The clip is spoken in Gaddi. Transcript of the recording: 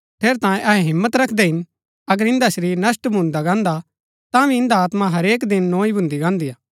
ठेरैतांये अहै हिम्मत रखदै हिन अगर इन्दा शरीर नष्‍ट भून्दा गान्दा हा तांभी इन्दी आत्मा हरेक दिन नोई भून्दी गान्दी हा